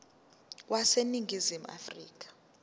wase ningizimu afrika